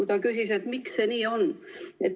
Ta küsis, miks see nii on.